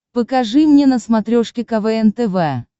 покажи мне на смотрешке квн тв